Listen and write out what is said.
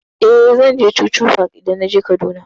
Eh, zan je chuchu park idan naje Kaduna.